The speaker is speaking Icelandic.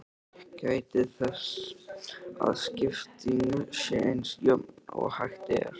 Gætið þess að skiptingin sé eins jöfn og hægt er.